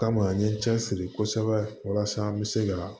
Kama an ye n cɛ siri kosɛbɛ walasa an bɛ se ka